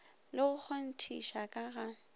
le go kgonthiša ka ga